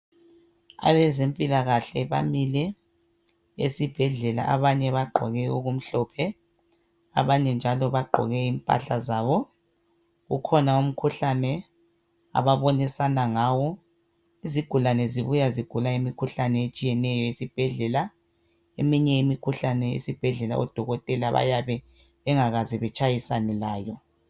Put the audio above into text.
Abezempilakahle bamile esibhedlela abanye bagqoke okumhlophe abanye njalo bagqoke impahla zabo. Kukhona umkhuhlane ababonisana ngawo Izigulane zibuya zigula imikhuhlane etshiyeneyo esibhedlela. Eminye imikhuhlane esibhedlela odokotela bayabe bengakaze betshayisane layo